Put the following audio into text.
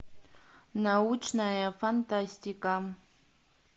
научная фантастика